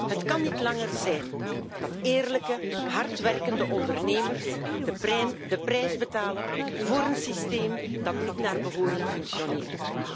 Het kan niet langer zijn dat eerlijke, hardwerkende ondernemers de prijs betalen voor een systeem dat niet naar behoren functioneert.